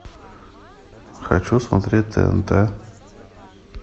хочу смотреть тнт